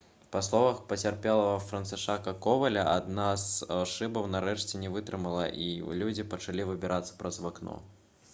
па словах пацярпелага францішака коваля «адна з шыбаў нарэшце не вытрымала і людзі пачалі выбірацца праз вакно»